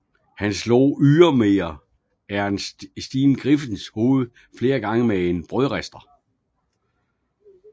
Han slog ydermere Ernestine Griffens hoved flere gange med en brødrister